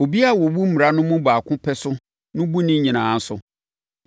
Obiara a ɔbu mmara no mu baako pɛ so no bu ne nyinaa so.